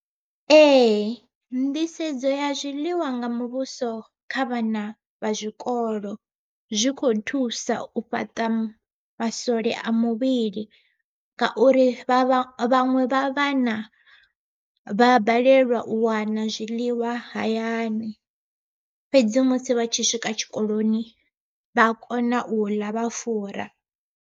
Ee nḓisedzo ya zwiḽiwa nga muvhuso kha vhana vha zwikolo, zwi kho thusa u fhaṱa maswole a muvhili ngauri vhaṅwe vha vhana vha balelwa u wana zwiḽiwa hayani, fhedzi musi vha tshi swika tshikoloni vha a kona u ḽa vha fura.